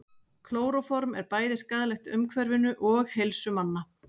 klóróform er bæði skaðlegt umhverfinu og heilsu manna